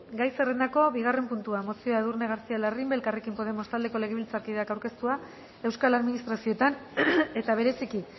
gai zerrendako bigarren puntua mozioa edurne garcía larrimbe elkarrekin podemos taldeko legebiltzarkideak aurkeztua euskal administrazioetan eta bereziki